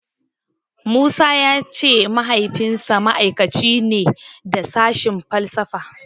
Musa ya ce Mahaifinsa ma'aikaci ne da sashen falsafa.